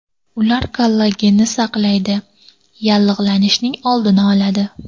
Ular kollagenni saqlaydi, yallig‘lanishning oldini oladi.